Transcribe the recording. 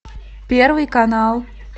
первый канал